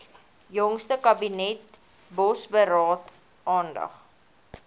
jongste kabinetsbosberaad aandag